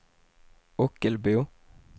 Ockelbo